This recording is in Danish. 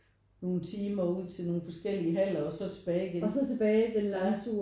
Nogen timer ud til nogen forskellige haller og tilbage igen ja